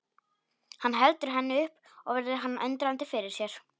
Hann heldur henni upp og virðir hana undrandi fyrir sér.